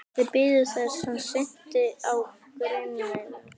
Þeir biðu þess hann synti á grynningar.